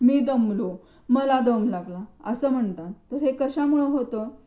मी दमलो मला दम लागला असं म्हणतात तर हे कशामुळं होतं?